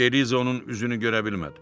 Beliza onun üzünü görə bilmədi.